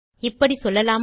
இப்படி சொல்லலாமா